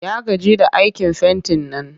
Ya gaji da aikin fentin nan